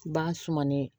Bagan sumanen